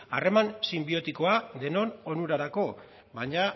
harreman sinbiotikoa denon onurarako baina